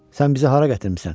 Sən bizi hara gətirmisən?